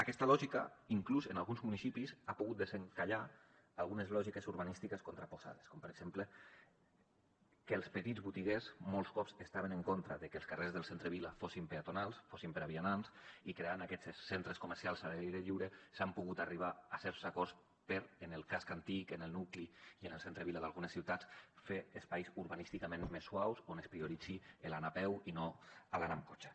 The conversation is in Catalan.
aquesta lògica inclús en alguns municipis ha pogut desencallar algunes lògiques urbanístiques contraposades com per exemple que els petits botiguers molts cops estaven en contra de que els carrers del centre vila fossin peatonals fossin per a vianants i creant aquests centres comercials a l’aire lliure s’ha pogut arribar a certs acords per en el casc antic en el nucli i en el centre vila d’algunes ciutats fer espais urbanísticament més suaus on es prioritzi l’anar a peu i no l’anar amb cotxe